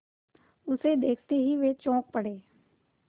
उसे देखते ही वे चौंक पड़े